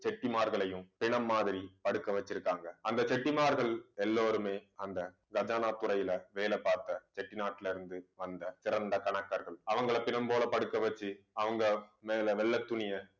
செட்டிமார்களையும் பிணம் மாதிரி படுக்க வச்சிருக்காங்க. அந்த செட்டிமார்கள் எல்லோருமே, அந்த கஜானா துறையில வேலை பார்த்த செட்டிநாட்டுல இருந்து, வந்த சிறந்த கணக்கர்கள் அவங்களை பிணம் போல படுக்க வச்சு அவங்க மேல வெள்ளைத் துணியை